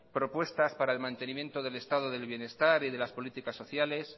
propuestas para el mantenimiento del estado del bienestar y de las políticas sociales